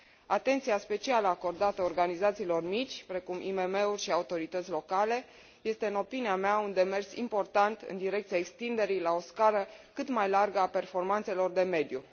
Atenția specială acordată organizațiilor mici, precum IMM uri și autorități locale, este, în opinia mea, un demers important în direcția extinderii la o scară cât mai largă a performanțelor de mediu.